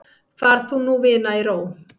Far þú nú vina í ró.